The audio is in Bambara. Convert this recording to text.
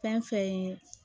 Fɛn fɛn ye